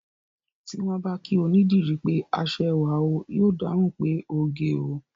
Tí wọ́n bá kí onídìrí pé aṣẹwà o, yóò dáhùn pé oge o